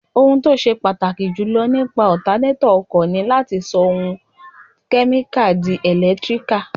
Ohun tó ṣe pàtàkì jù nípa ọtanétọ̀ ọkọ̀ ni láti sọ okun kẹ́míkà di ẹ̀lẹ́tíríkà